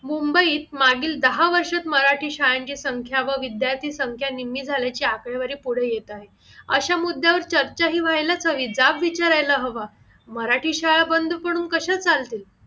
मुंबईत मागील दहा वर्षात मराठी शाळेंची संख्या व विद्यार्थी निम्मी झाल्याची आकडेवारी पुढे येत आहेत अश्या मुद्द्यावर चर्चा हि होयलाच हवी जाब विचारायला हवा मराठी शाळा बंद पडून कशे चालतील